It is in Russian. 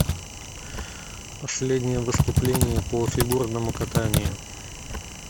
последнее выступление по фигурному катанию